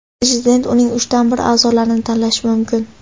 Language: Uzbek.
Prezident uning uchdan bir a’zolarini tanlashi mumkin.